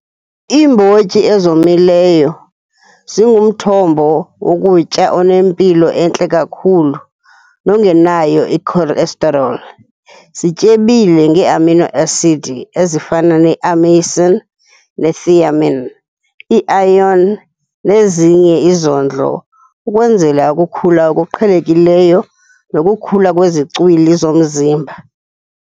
Iimbotyi ezomileyo zingumthombo wokutya onempilo entle kakhulu nongenayo icholesterol, zityebile ngeeamino asidi ezifana neameyisini nethiamine, i-iron nezinye izondlo ukwenzela ukukhula okuqhelekileyo nokukhula kwezicwili zomzimba.